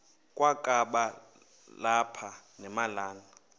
kwakaba lapha nemalana